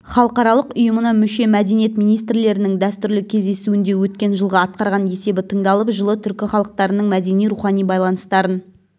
халықаралық ұйымына мүше мәдениет министрлерінің дәстүрлі кездесуінде өткен жылғы атқарған есебі тыңдалып жылы түркі халықтарының мәдени-рухани байланыстарын